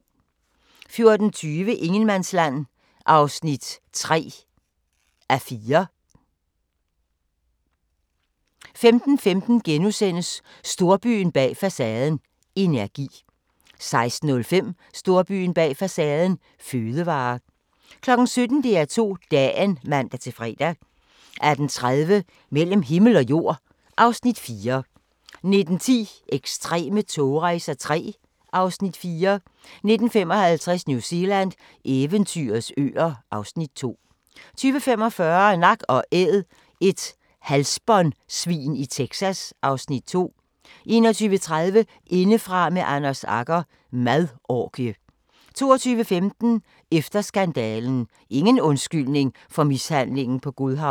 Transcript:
14:20: Ingenmandsland (3:6) 15:15: Storbyen bag facaden – energi * 16:05: Storbyen bag facaden – fødevarer 17:00: DR2 Dagen (man-fre) 18:30: Mellem himmel og jord (Afs. 4) 19:10: Ekstreme togrejser III (Afs. 4) 19:55: New Zealand – eventyrets øer (Afs. 2) 20:45: Nak & Æd – et halsbåndsvin i Texas (Afs. 2) 21:30: Indefra med Anders Agger – Madorgie 22:15: Efter skandalen – Ingen undskyldning for mishandlingen på Godhavn